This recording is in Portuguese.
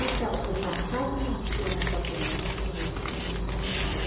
Acaba, eu passava uma cena com a criança, a noite, tinha uma reunião com os pais.